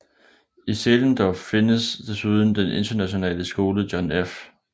I Zehlendorf findes desuden den internationale skole John F